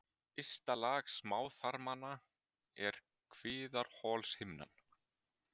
Ysta lag smáþarmanna er kviðarholshimnan.